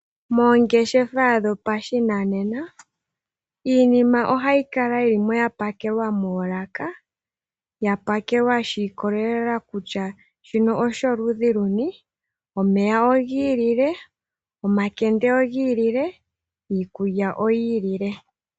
Moongashingeyi dhopashinanena iinima ohayi kala yapakelwa moolaka, yapakelwa shiikolelela kutya shino osholudhi luni. Omeya ogiilile, omakende ogiilile, iikulya oyiilile.